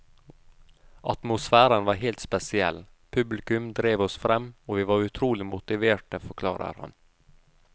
Atmosfæren var helt spesiell, publikum drev oss frem og vi var utrolig motiverte, forklarer han.